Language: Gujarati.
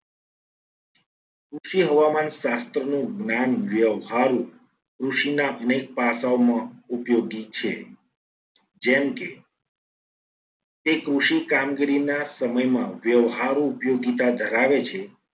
ઓછી હવામાન શાસ્ત્રનું જ્ઞાન વ્યવહારૂ કૃષિના અનેક પાસાઓ માં ઉપયોગી છે. જેમ કે તે કૃષિ કામગીરીના સમયમાં વ્યવહારો ઉપયોગીતા ધરાવે છે.